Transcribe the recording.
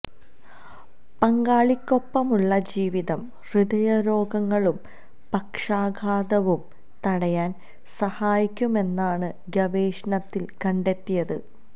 പങ്കാളിക്കൊപ്പമുളള ജീവിതം ഹൃദയരോഗങ്ങളും പക്ഷാഘാതവും തടയാന് സഹായിക്കുമെന്നാണ് ഗവേഷണത്തില് കണ്ടെത്തിയത്